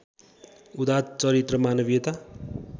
उदात्त चरित्र मानवीयता